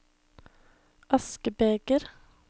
askebeger